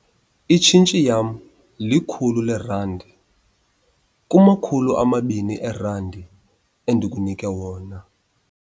Itshintshi yam likhulu leerandi kumakhulu amabini eerandi endikunike yona.